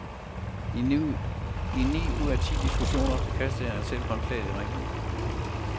I ni ud af ti diskussioner kaster han selv håndklædet i ringen.